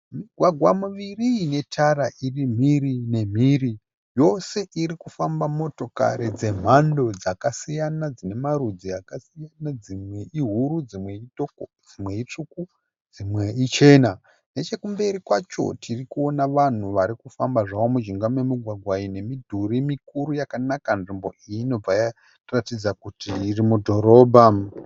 Migwagwa miviri ine tara iri mhiri nemhiri. Yose irikufamba motokari dzemhando dzakasiyana. Dzine marudzi akasiyana. Dzimwe ihuru ,dzimwe itoko, dzimwe itsvuku ,dzimwe ichena . Nechekumberi kwacho tirikuona vanhu varikufamba zvavo mujinga memugwagwa ine midhuri mikuru yakanaka. Nzvimbo iyi inobva yatiratidza kuti mudhorobha .